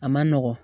A ma nɔgɔn